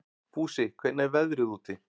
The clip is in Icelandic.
Fúsi, hvernig er veðrið úti?